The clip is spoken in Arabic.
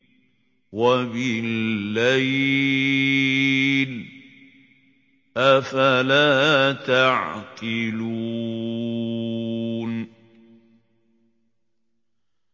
وَبِاللَّيْلِ ۗ أَفَلَا تَعْقِلُونَ